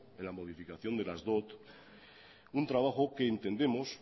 en la modificación de las dot un trabajo que entendemos